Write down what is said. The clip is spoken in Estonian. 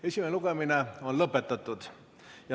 Esimene lugemine on lõpetatud.